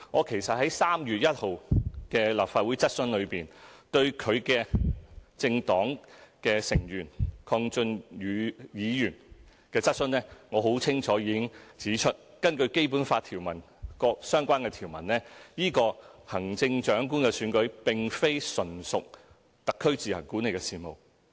其實，在3月1日立法會質詢，我已就其政黨成員鄺俊宇議員的質詢，很清楚指出，根據《基本法》各相關條文，行政長官的選舉並非純屬特區自行管理的事務。